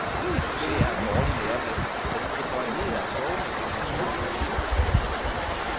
Succes er en dårlig læremester, fordi det foranlediger kloge mennesker til at tro, de ikke kan tabe.